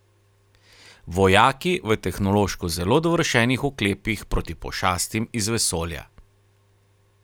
Vojaki v tehnološko zelo dovršenih oklepih proti pošastim iz vesolja.